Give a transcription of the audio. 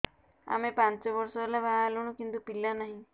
ଆମେ ପାଞ୍ଚ ବର୍ଷ ହେଲା ବାହା ହେଲୁଣି କିନ୍ତୁ ପିଲା ନାହିଁ